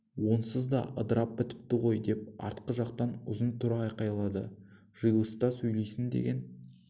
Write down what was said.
онсыз да ыдырап бітіпті ғой деп артқы жақтан ұзын тұра айқайлады жиылыста сөйлейсің деген